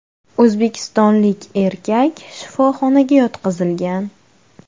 O‘zbekistonlik erkak shifoxonaga yotqizilgan.